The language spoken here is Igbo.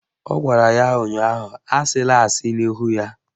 Ọ gwara ya ụnyaahụ "Asịla asị n'ihu ya"!